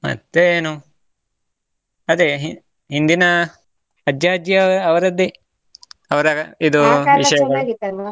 ಮತ್ತೆ ಏನು ಅದೇ ಹಿಂದಿನ ಅಜ್ಜಾ ಅಜ್ಜಿ ಅವರದ್ದೇ ಅವ್ರ .